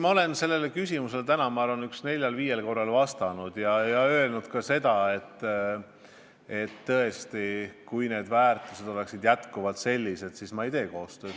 Ma olen sellele küsimusele täna neljal-viiel korral vastanud ja öelnud ka seda, et tõesti, kui need väärtused oleksid endiselt sellised, siis ma ei tee koostööd.